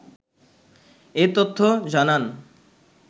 এ তথ্য জানান